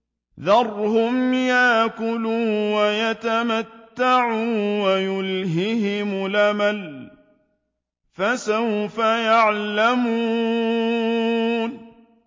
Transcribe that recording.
ذَرْهُمْ يَأْكُلُوا وَيَتَمَتَّعُوا وَيُلْهِهِمُ الْأَمَلُ ۖ فَسَوْفَ يَعْلَمُونَ